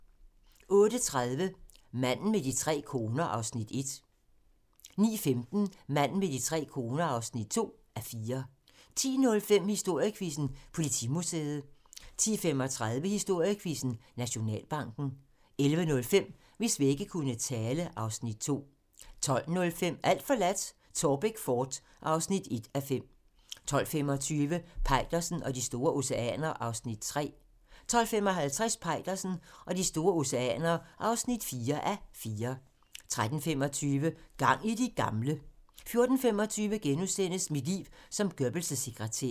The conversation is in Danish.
08:30: Manden med de tre koner (1:4) 09:15: Manden med de tre koner (2:4) 10:05: Historiequizzen: Politimuseet 10:35: Historiequizzen: Nationalbanken 11:05: Hvis vægge kunne tale (Afs. 2) 12:05: Alt forladt - Taarbæk fort (1:5) 12:25: Peitersen og de store oceaner (3:4) 12:55: Peitersen og de store oceaner (4:4) 13:25: Gang i de gamle! 14:25: Mit liv som Goebbels' sekretær *